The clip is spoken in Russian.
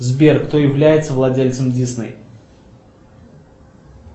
сбер кто является владельцем дисней